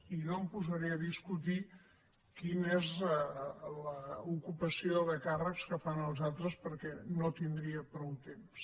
i no em posaré a discutir quina és l’ocupació de càrrecs que fan els altres perquè no tindria prou temps